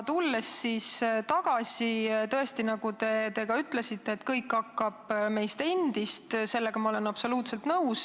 Aga tõesti, nagu te ka ütlesite, kõik algab meist endist – sellega ma olen absoluutselt nõus.